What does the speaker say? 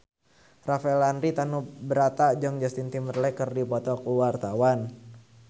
Rafael Landry Tanubrata jeung Justin Timberlake keur dipoto ku wartawan